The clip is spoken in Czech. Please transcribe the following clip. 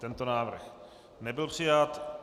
Tento návrh nebyl přijat.